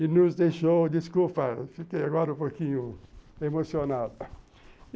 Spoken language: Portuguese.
E nos deixou, desculpa, fiquei agora um pouquinho emocionado.